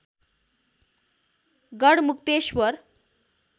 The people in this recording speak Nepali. गढमुक्तेश्‍वर